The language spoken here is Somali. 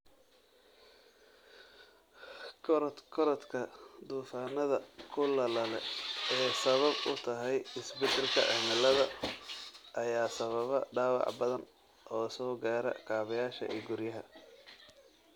Korodhka duufaanada kulaalale ee ay sabab u tahay isbedelka cimilada ayaa sababa dhaawac badan oo soo gaara kaabayaasha iyo guryaha.